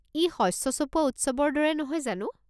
ই শস্য চপোৱা উৎসৱৰ দৰে নহয় জানো?